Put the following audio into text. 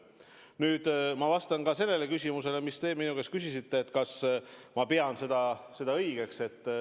Nüüd ma vastan ka sellele küsimusele, mis te minu käest küsisite: kas ma pean seda õigeks.